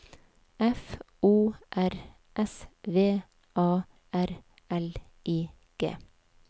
F O R S V A R L I G